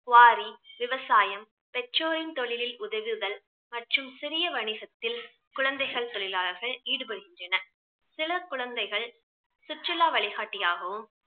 Quarry, விவசாயம், பெற்றோரின் தொழிலில் உதவுதல் மற்றும் சிறிய வணிகத்தில் குழந்தைகள் தொழிலாளர்கள் ஈடுபடுகின்றனர். சில குழந்தைகள் சுற்றுலா வழிகாட்டியாகவும்